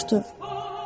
O soruşdu: